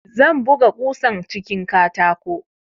Zan buga kusan cikin katako